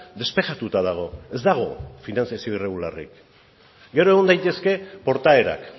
despejatuta dago ez dago finantziazio irregularrik gero egon daitezke portaerak